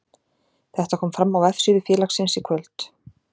Þetta kom fram á vefsíðu félagsins í kvöld.